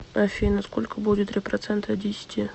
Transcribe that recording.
афина сколько будет три процента от десяти